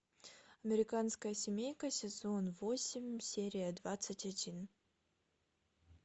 американская семейка сезон восемь серия двадцать один